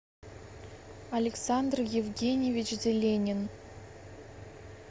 александр евгеньевич зеленин